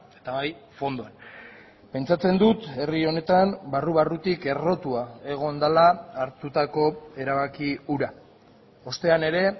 eta bai fondoan pentsatzen dut herri honetan barru barrutik errotua egon dela hartutako erabaki hura ostean ere